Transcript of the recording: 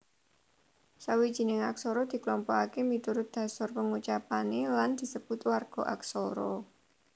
Sawijining aksara diklompokaké miturut dhasar pangucapané lan disebut warga aksara